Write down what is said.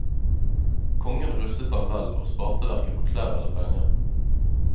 Kongen rustet ham vel, og sparte hverken på klær eller penger.